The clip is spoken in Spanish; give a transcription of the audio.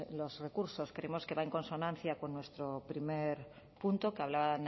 los recursos creemos que va en consonancia con nuestro primer punto que hablaba